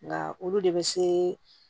Nka olu de bɛ se